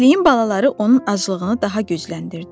Kəkliyin balaları onun aclığını daha gücləndirdi.